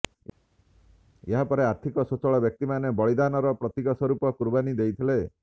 ଏହାପରେ ଆର୍ଥିକ ସ୍ବଚ୍ଛଳ ବ୍ୟକ୍ତି ମାନେ ବଳିଦାନ ର ପ୍ରତିକ ସ୍ବରୁପ କୁର୍ବାନି ଦେଇଥିଲେ